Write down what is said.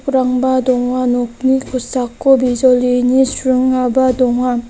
donga nokni kosako bijolini sringaba donga.